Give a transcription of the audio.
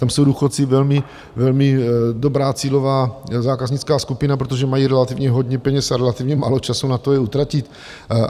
Tam jsou důchodci velmi dobrá cílová zákaznická skupina, protože mají relativně hodně peněz a relativně málo času na to je utratit.